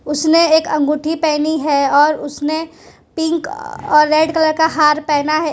उसने एक अंगूठी पहनी है और उसने पिंक और रेड कलर का हार पहना है।